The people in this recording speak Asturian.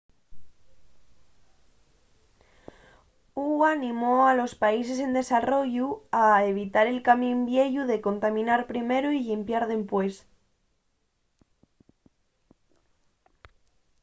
hu animó a los países en desarrollu a evitar el camín vieyu de contaminar primero y llimpiar dempués.